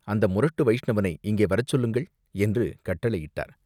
அந்த முரட்டு வைஷ்ணவனை இங்கே வரச் சொல்லுங்கள்!" என்று கட்டளையிட்டார்.